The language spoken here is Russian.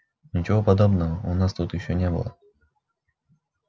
ничего подобного у нас тут ещё не было